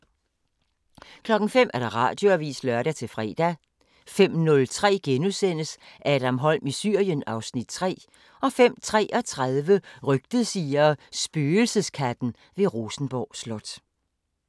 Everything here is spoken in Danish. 05:00: Radioavisen (lør-fre) 05:03: Adam Holm i Syrien (Afs. 3)* 05:33: Rygtet siger: Spøgelseskatten ved Rosenborg Slot